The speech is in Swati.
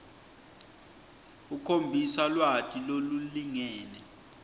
ukhombisa lwati lolulingene